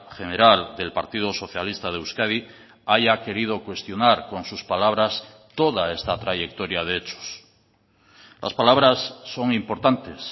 general del partido socialista de euskadi haya querido cuestionar con sus palabras toda esta trayectoria de hechos las palabras son importantes